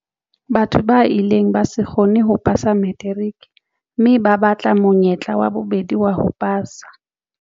Batho ba ileng ba se kgone ho pasa materiki mme ba batla monyetla wa bobedi wa ho pasa.